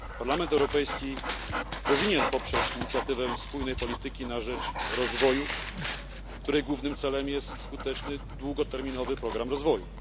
Parlament Europejski powinien poprzeć inicjatywę spójnej polityki na rzecz rozwoju, której głównym celem jest skuteczny długoterminowy program rozwoju.